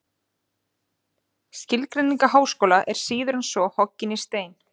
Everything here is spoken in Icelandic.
Skilgreining á háskóla er síður en svo hoggin í stein.